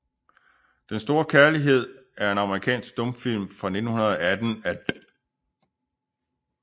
Den store Kærlighed er en amerikansk stumfilm fra 1918 af D